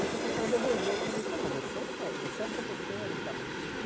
E a professora devolveu para mim e falou, você que está você é o professor e tal.